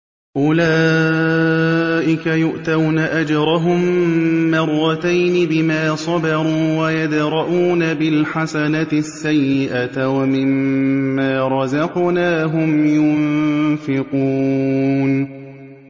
أُولَٰئِكَ يُؤْتَوْنَ أَجْرَهُم مَّرَّتَيْنِ بِمَا صَبَرُوا وَيَدْرَءُونَ بِالْحَسَنَةِ السَّيِّئَةَ وَمِمَّا رَزَقْنَاهُمْ يُنفِقُونَ